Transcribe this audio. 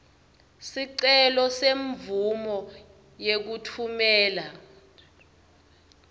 sicelo semvumo yekutfumela